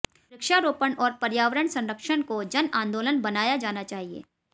वृक्षारोपण और पर्यावरण संरक्षण को जन आंदोलन बनाया जाना चाहिए